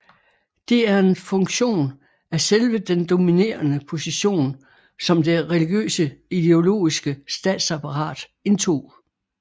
Det er en funktion af selve den dominerende position som det religiøse ideologiske statsapparat indtog